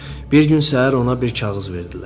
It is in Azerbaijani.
Bir gün səhər ona bir kağız verdilər.